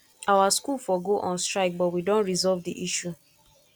our school for go on strike but we don resolve the issue